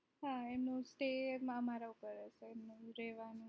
હા એમનું અમારા ઉપર હશે રેવાનું